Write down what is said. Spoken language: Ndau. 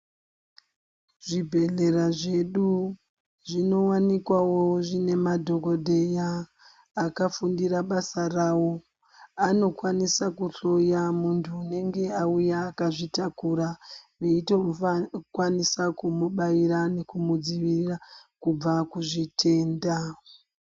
Zvibhedhleya zvedu zvinowanikwawo zvine madhokodheya akafundire basa rawo anokwanisa kuhloya mundu unenge auya akazvitakura veyito kwanisa kumubaira nekumudzivirira kubva kuzvitenda.